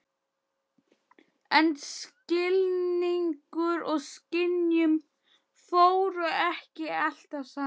En skilningur og skynjun fóru ekki alltaf saman.